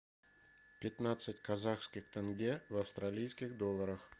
пятнадцать казахских тенге в австралийских долларах